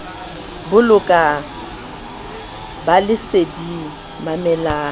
bolokang ba le leseding mamelang